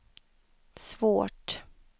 svårt